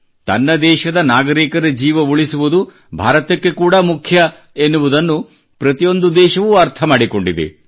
ತನ್ನ ದೇಶದ ನಾಗರಿಕರ ಜೀವ ಉಳಿಸುವುದು ಭಾರತಕ್ಕೆ ಕೂಡಾ ಮುಖ್ಯ ಎನ್ನುವುದನ್ನು ಪ್ರತಿಯೊಂದು ದೇಶವೂ ಅರ್ಥ ಮಾಡಿಕೊಂಡಿದೆ